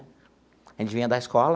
A gente vinha da escola,